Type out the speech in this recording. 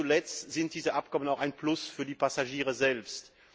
Nicht zuletzt sind diese Abkommen auch ein Plus für die Passagiere selbst.